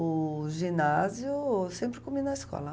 O ginásio eu sempre comi na escola.